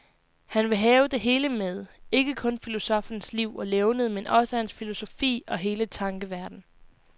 Han vil have det hele med, ikke kun filosoffens liv og levned, men også hans filosofi og hele tankeverden.